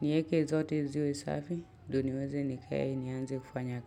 Nieke zote ziwe safi ndo niweze nikae nianze kufanya kazi.